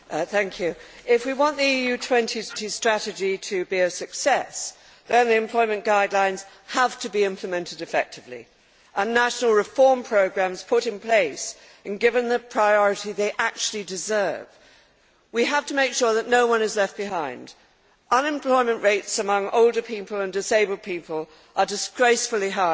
Madam President, if we want the Europe 2020 Strategy to be a success, then the Employment Guidelines have to be implemented effectively, and national reform programmes put in place and given the priority they actually deserve. We have to make sure that no one is left behind. Unemployment rates among older people and disabled people are disgracefully high.